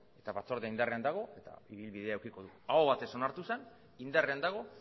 eta batzordea indarrean dago eta ibilbidea edukiko du aho batez onartu zen indarrean dago